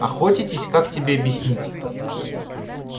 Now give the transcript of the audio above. охотитесь как тебе объяснить